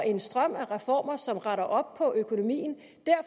en strøm af reformer som retter op på økonomien